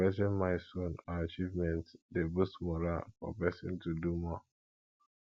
celebrating milestone or achievement de boost morale for persin to do more